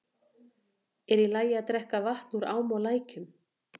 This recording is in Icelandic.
Er í lagi að drekka vatn úr ám og lækjum?